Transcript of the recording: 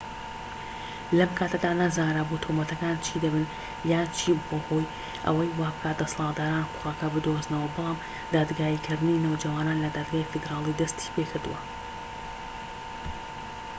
لەم کاتەدا نەزانرابوو تۆمەتەکان چی دەبن یان چی بووە هۆی ئەوەی وابکات دەسەڵاتداران کوڕەکە بدۆزنەوە بەڵام دادگاییکردنی نەوجەوانان لە دادگای فیدرالی دەستی پێکردووە